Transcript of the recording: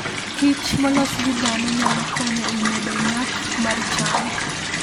kich molos gi dhano nyalo konyo e medo nyak mar cham.